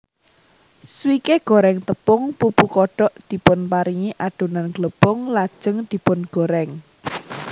Swike goreng tepung pupu kodok dipunparingi adonan glepung lajeng dipungorèng